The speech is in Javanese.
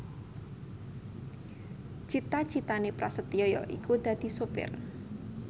cita citane Prasetyo yaiku dadi sopir